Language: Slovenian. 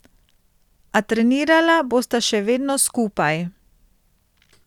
A trenirala bosta še vedno skupaj.